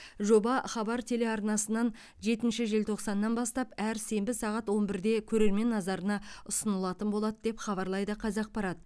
жоба хабар телеарнасынан жетінші желтоқсаннан бастап әр сенбі сағат он бірде көрермен назарына ұсынылатын болады деп хабарлайды қазақпарат